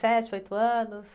Sete, oito anos?